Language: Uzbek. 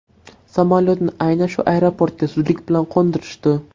Samolyotni aynan shu aeroportga zudlik bilan qo‘ndirishdi.